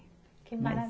Que mara